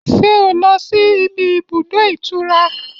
Ṣé o lọ síbi ibùdó ìtura?